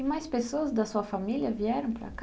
E mais pessoas da sua família vieram para cá?